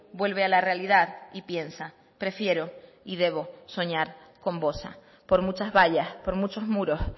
vuelve a la realidad y piensa prefiero y debo soñar con bosa por muchas vallas por muchos muros